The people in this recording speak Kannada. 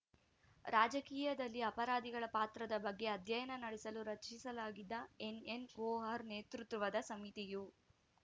ರಾಜಕೀಯದಲ್ಲಿ ಅಪರಾಧಿಗಳ ಪಾತ್ರದ ಬಗ್ಗೆ ಅಧ್ಯಯನ ನಡೆಸಲು ರಚಿಸಲಾಗಿದ್ದ ಎನ್‌ಎನ್‌ ವೋಹ್ರಾ ನೇತೃತ್ವದ ಸಮಿತಿಯು